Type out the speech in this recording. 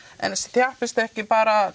en þjappist ekki bara